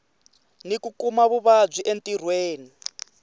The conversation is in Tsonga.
ni ku kuma vuvabyi entirhweni